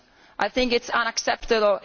I think it is unacceptable